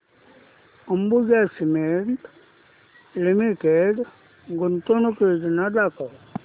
Ambuja cement limited गुंतवणूक योजना दाखव